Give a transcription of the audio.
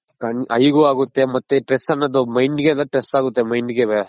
Eye ಗು ಆಗುತ್ತೆ ಮತ್ತೆ Stress ಅನ್ನೋದು Mind ಗೆಲ್ಲ Stress ಆಗುತ್ತೆ Mind .